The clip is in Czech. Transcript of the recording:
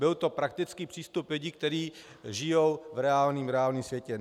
Byl to praktický přístup lidí, kteří žijí v reálném světě.